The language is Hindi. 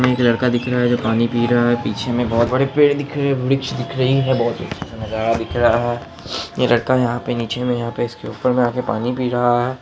यहाँ पे हमें एक लड़का दिख रहा हैं जो पानी पी रहा हैं पीछे में बोहोत बड़े पेड़ दिख रहे हैं वृक्ष दिख रहे हैं बोहोत अच्छा नजारा दिख रहा हैं ये लड़का यहाँ पे नीचे में यहाँ पे इसके ऊपर में आ के पानी पी रहा हैं।